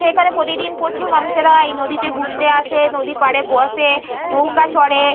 এখানে প্রতিদিন প্রচুর মানুষেরা এই নদীতে ঘুরতে আসে। নদীর পাড়ে বসে নৌকা চড়ে।